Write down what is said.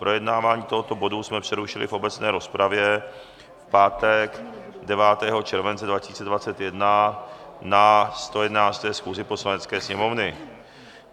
Projednávání tohoto bodu jsme přerušili v obecné rozpravě v pátek 9. července 2021 na 111. schůzi Poslanecké sněmovny.